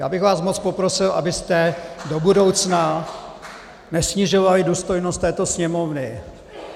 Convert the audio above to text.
Já bych vás moc poprosil, abyste do budoucna nesnižovali důstojnost této Sněmovny.